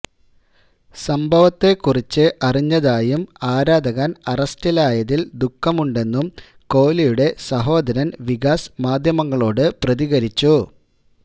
സംഭവത്തെക്കുറിച്ച് അറിഞ്ഞതായും ആരാധകൻ അറസ്റ്റിലായതിൽ ദുഃഖമുണ്ടെന്നും കോഹ്ളിയുടെ സഹോദരൻ വികാസ് മാദ്ധ്യമങ്ങളോട് പ്രതികരിച്ചു